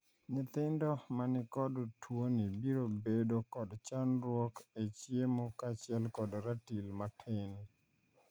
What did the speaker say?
Nyithindo manikod tuoni biro bedo kod chandruok e chiemo kachiel kod ratil matin.